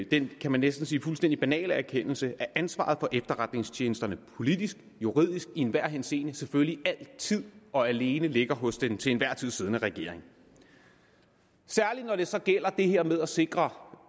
den kan man næsten sige fuldstændig banale erkendelse at ansvaret for efterretningstjenesterne politisk og juridisk i enhver henseende selvfølgelig altid og alene ligger hos den til enhver tid siddende regering særlig når det så gælder det her med at sikre